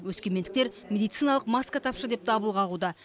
өскемендіктер медициналық маска тапшы деп дабыл қағуда